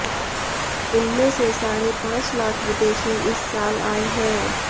इनमें से साढ़े पांच लाख विदेशी इस साल आए हैं